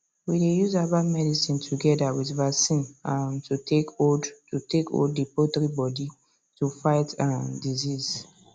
we dey use herbal medicine together with vaccines um to take hold to take hold the poultry body to fight um disease